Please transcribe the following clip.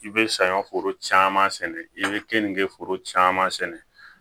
I bɛ saɲɔ foro caman sɛnɛ i bɛ kenke foro caman sɛnɛ